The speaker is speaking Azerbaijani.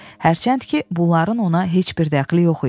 Hərçənd ki, bunların ona heç bir dəxli yox idi.